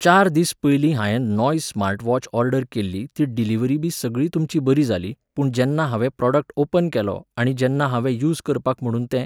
चार दीस पयलीं हायेन नॉयज स्मार्ट वॉच ऑर्डर केल्ली ती डिलिव्हरीबी सगळी तुमची बरी जाली, पूण जेन्ना हांवें प्रॉडक्ट ओपन केलो आनी जेन्ना हांवें यूज करपाक म्हणून तें